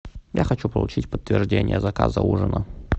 я хочу получить подтверждение заказа ужина